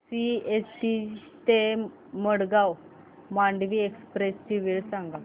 CST ते Madgaon Mandovi express ची वेळ सांगा